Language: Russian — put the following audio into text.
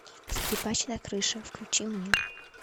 скрипач на крыше включи мне